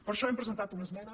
per això hem presentat una esmena